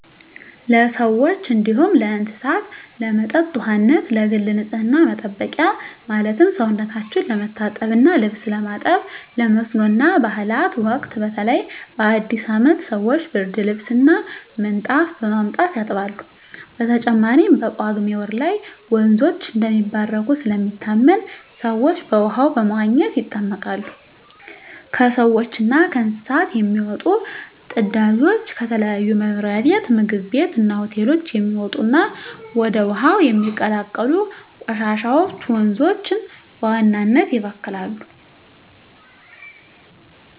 ለሰዎች እንዲሁም ለእስሳት ለመጠጥ ውሃነት፣ ለግል ንፅህና መጠበቂያ ማለትም ሰውነታቸው ለመታጠብ እና ልብስ ለማጠብ፣ ለመስኖ እና ባእላት ወቅት በተለይ በአዲስ አመት ሰወች ብርድልብስ እና ምንጣፍ በማምጣት ያጥባሉ። በተጨማሪም በጳጉሜ ወር ላይ ወንዞች እንደሚባረኩ ስለሚታመን ሰወች በውሃው በመዋኘት ይጠመቃሉ። ከሰውች እና ከእንስሳት የሚወጡ ፅዳጆች፣ ከተለያዩ መኖሪያ ቤት ምግብ ቤት እና ሆቴሎች የሚወጡ እና ወደ ውሀው የሚቀላቀሉ ቆሻሻወች ወንዞችን በዋናነት ይበክላሉ።